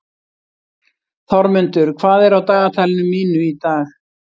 Þormundur, hvað er á dagatalinu mínu í dag?